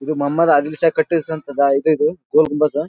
ಇದು ಮಮದ್ ಅಗ್ನಿಸ್ ಕಟ್ಟಿಸಿದಂತ ಈದ್ ಇದು ಗೋಲಗುಮಜ್.